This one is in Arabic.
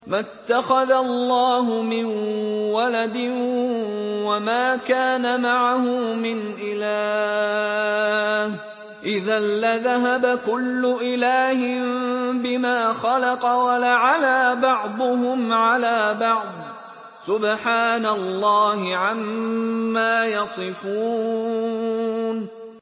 مَا اتَّخَذَ اللَّهُ مِن وَلَدٍ وَمَا كَانَ مَعَهُ مِنْ إِلَٰهٍ ۚ إِذًا لَّذَهَبَ كُلُّ إِلَٰهٍ بِمَا خَلَقَ وَلَعَلَا بَعْضُهُمْ عَلَىٰ بَعْضٍ ۚ سُبْحَانَ اللَّهِ عَمَّا يَصِفُونَ